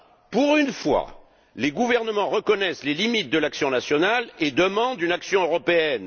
Pour une fois, les gouvernements reconnaissent les limites de l'action nationale et demandent une action européenne.